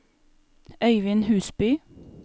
Øyvind Husby